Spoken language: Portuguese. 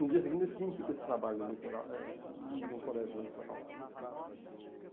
No dia seguinte, eu tinha que ir para esse trabalho eleitoral, eh no colégio eleitoral lá né.